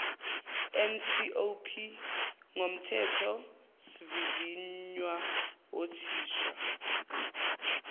ncop ngomthethosivivinywa othinta